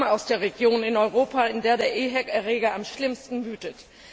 Ich komme aus der Region in Europa, in der der EHEC Erreger am schlimmsten wütet.